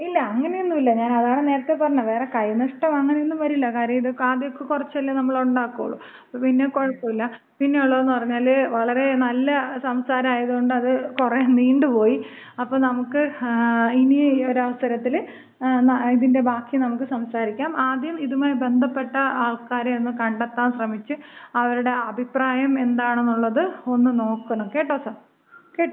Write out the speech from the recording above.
ഇല്ല അങ്ങനെയൊന്നുല്ല. ഞാനതാണ് നേരത്തെ പറഞ്ഞത്. വേറെ കൈ നഷ്ടം അങ്ങനെ ഒന്നും വരില്ല. കാര്യം ഇത് ആദ്യമൊക്കെ ഇത് കുറച്ചല്ലേ നമ്മള് ഉണ്ടാക്കുള്ളൂ. അപ്പോ പിന്നെ കുഴപ്പമില്ല. പിന്നെയുള്ളത്ന്ന് പറഞ്ഞാല് വളരെ നല്ല സംസാരം ആയത് കൊണ്ട് അത് കുറെ നീണ്ടുപോയി. അപ്പോ നമുക്ക് ഇനി ഒരു അവസരത്തില് ഇതിന്‍റെ ബാക്കി നമുക്ക് സംസാരിക്കാം. ആദ്യം ഇതുമായി ബന്ധപ്പെട്ട ആൾക്കാരെ ഒന്ന് കണ്ടെത്താൻ ശ്രമിച്ച് അവരുടെ അഭിപ്രായം എന്താണെന്നുള്ളത് ഒന്നു നോക്കണം. കേട്ടോ കേട്ടോ.